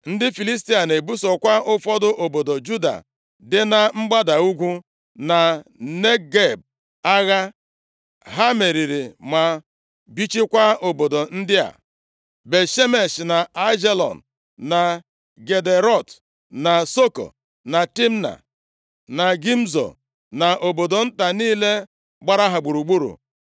Ndị Filistia na-ebusokwa ụfọdụ obodo Juda dị na mgbada ugwu, na Negeb agha. Ha meriri ma bichikwaa obodo ndị a; Bet-Shemesh, na Aijalon, na Gederọt, na Soko, na Timna, na Gimzo, na obodo nta niile gbara ha gburugburu.